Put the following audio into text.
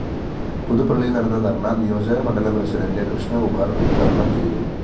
പുതുപ്പള്ളിയില്‍ നടന്ന ധര്‍ണ നിയോജകമണ്ഡലം പ്രസിഡന്റ് കൃഷ്ണകുമാര്‍ ഉദ്ഘാടനം ചെയ്തു